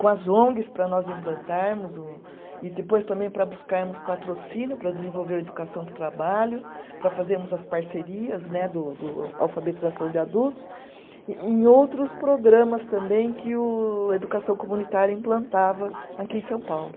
com as ongs para nós implantarmos o, e depois também para buscarmos patrocínio para desenvolver o educação para o trabalho, para fazermos as parcerias né do do alfabetização de adultos, e em outros programas também que o educação comunitária implantava aqui em São Paulo.